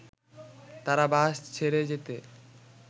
তারা বাস ছেড়ে যেতে